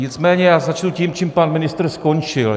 Nicméně já začnu tím, čím pan ministr skončil.